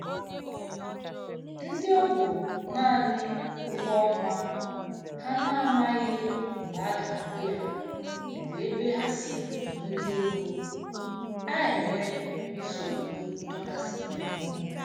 Ndị ọbụ naanị ụgwọọnwa ha na-amaghị mgbe a ga-akwụ ya bụ ebe ha si enweta ego a-enwe nsogbu ndọkasị ime mmụọ